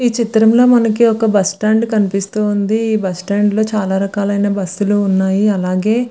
ఈ చిత్రం లో మనకి ఒక బస్సు స్టాండ్ కనిపిస్తుంది ఈ బస్సు స్టాండ్ లో చాల రకాలైన బసులు ఉన్నాయి అలాగే --